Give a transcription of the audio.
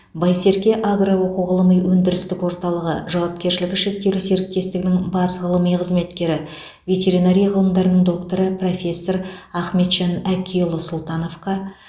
байсерке агро оқу ғылыми өндірістік орталығы жауапкершілігі шектеулі серіктестігінің бас ғылыми қызметкері ветеринария ғылымдарының докторы профессор ахметжан әкиұлы сұлтановқа